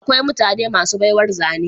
Akwai mutane masu baiwar zane